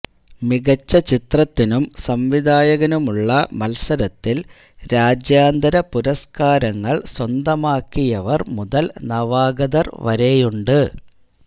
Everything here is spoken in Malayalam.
മികച്ച ചിത്രത്തിനും സംവിധായകനുമുള്ള മത്സരത്തില് രാജ്യാന്തര പുരസ്കാരങ്ങള് സ്വന്തമാക്കിയവര് മുതല് നവാഗതര് വരെയുണ്ട്